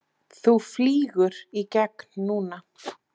Þú flýgur í gegn núna!